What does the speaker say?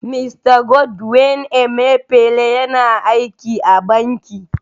Mista Godwin Emefiele yana aiki a Banki.